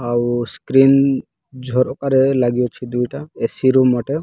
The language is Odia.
ଆଉ ସ୍କ୍ରିନ ଝରକାରେ ଲାଗି ଅଛି। ଦୁଇଟା ଏ_ସି ରୁମ୍ ଗୋଟେ।